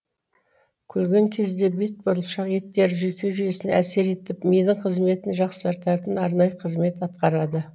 күлген кезде бет бұлшық еттері жүйке жүйесіне әсер етіп мидың қызметін жақсартатын арнайы қызмет атқарады